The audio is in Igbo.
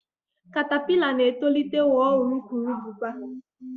katapila na-etolite ghọọ urukurubụba.